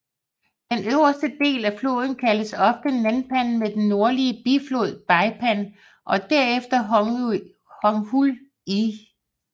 Den øverste del af floden kaldes ofte Nanpan med den nordlige biflod Beipan og derefter Hongshui He